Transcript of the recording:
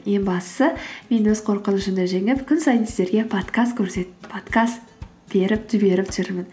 ең бастысы мен өз қорқынышымды жеңіп күн сайын сіздерге подкаст беріп жіберіп жүрмін